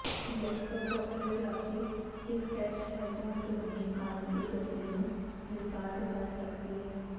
ਇਲੈਕਟਰੋਕੌਕਲੇਗ੍ਰਾਫੀ ਇੱਕ ਟੈਸਟ ਹੈ ਜੋ ਅੰਦਰੂਨੀ ਕੰਨ ਦੀ ਗਤੀ ਨੂੰ ਰਿਕਾਰਡ ਕਰ ਸਕਦੀ ਹੈ